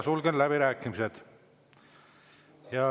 Sulgen läbirääkimised.